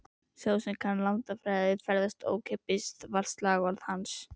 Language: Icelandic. Sá sem kann landafræði, ferðast ókeypis, var slagorð hans.